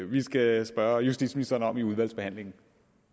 vi skal spørge justitsministeren om i udvalgsbehandlingen